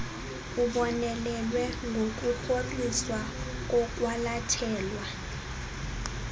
ubonelele ngokurhoxiswa kokwalathelwa